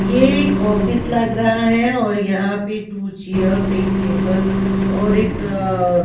ये एक ऑफिस लग रहा है और यहां पे टू चेयर्स एक टेबल और एक अ ।